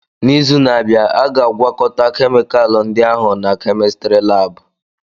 N'izu na-abia, a ga-agwókóta kemikalu ndia ahu na kémistiri láábu